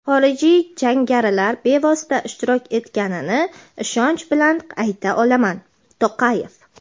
xorijiy jangarilar bevosita ishtirok etiganini ishonch bilan ayta olaman – To‘qayev.